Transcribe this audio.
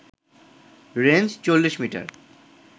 range ৪০ metre